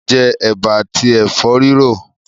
Mà á jẹ ẹ̀bà àti ẹ̀fọ́ rírò.